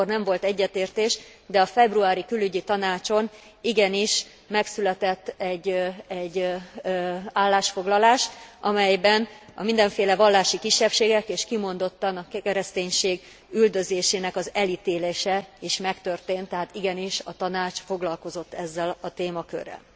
Akkor nem volt egyetértés, de a februári Külügyi Tanácson igenis megszületett egy állásfoglalás, amelyben a mindenféle vallási kisebbségek és kimondottan a kereszténység üldözésének az elítélése is megtörtént, tehát igenis a Tanács foglalkozott ezzel a témakörrel.